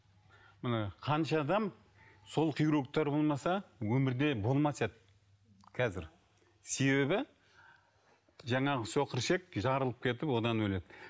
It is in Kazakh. міне қанша адам сол хирургтер болмаса өмірде болмас еді қазір себебі жаңағы соқыршек жарылып кетіп одан өледі